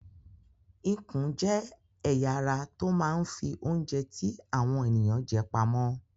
Ikùn jẹ́ ẹ̀ya ara tó máa ń fi oúnjẹ tí àwọn ènìyàn jẹ pamọ́.